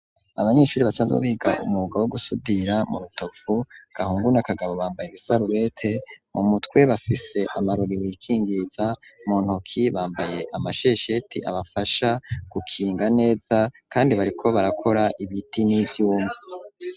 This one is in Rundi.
Abanyeshuri basanzwe biga umwuga wo gusudira mu Rutovu Gahungu na Kagabo bambaye ibisarubete mu mutwe bafise amarori wikingiza mu ntoki bambaye amashesheti abafasha gukinga neza kandi bariko barakora ibiti n'ivyuma.